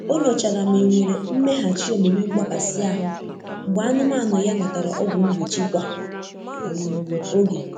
O nyochara ma e nwere mmeghachi omume mgbakasị ahụ́ mgbe anụmanụ ya natara ọgwụ mgbochi kwa um oge.